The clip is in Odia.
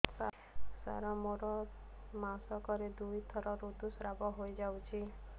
ସାର ମୋର ମାସକରେ ଦୁଇଥର ଋତୁସ୍ରାବ ହୋଇଯାଉଛି